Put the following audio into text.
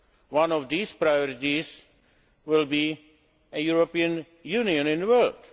One of these priorities will be the European Union in the world.